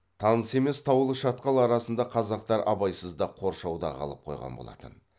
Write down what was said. таныс емес таулы шатқал арасында қазақтар абайсызда қоршауда қалып қойған болатын